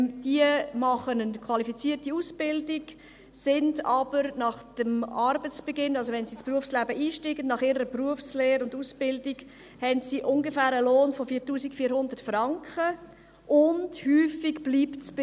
Sie machen eine qualifizierte Ausbildung, haben aber nach dem Arbeitsbeginn, wenn sie also nach ihrer Berufslehre und Ausbildung ins Berufsleben einsteigen, einen Lohn von ungefähr 4400 Franken, und häufig bleibt es dabei.